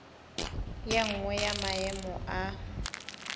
ye nngwe ya maemo a